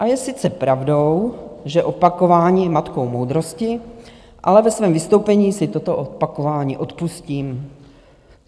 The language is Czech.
A je sice pravdou, že opakování je matkou moudrosti, ale ve svém vystoupení si toto opakování odpustím.